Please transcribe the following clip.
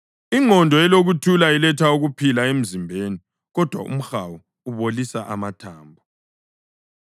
Ingqondo elokuthula iletha ukuphila emzimbeni, kodwa umhawu ubolisa amathambo.